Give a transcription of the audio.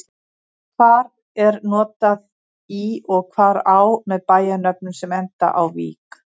Hvar er notað í og hvar á með bæjarnöfnum sem enda á-vík?